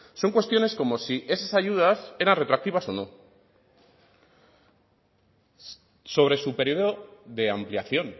son cuestiones como si esas ayudas eran retroactivas o no sobre su periodo de ampliación